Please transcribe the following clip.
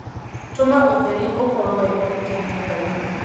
tũma ũtheri ũkorwo wĩ mũingĩ nyũmbainĩ